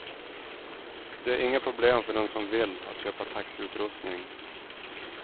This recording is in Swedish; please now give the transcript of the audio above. Det är inga problem för den som vill att köpa taxiutrustning.